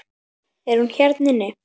Er hún hérna inni?